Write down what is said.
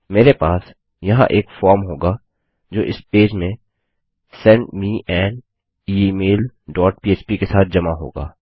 मेरे पास यहाँ एक फॉर्म होगा जो इस पेज में send me an email dot पह्प के साथ जमा होगा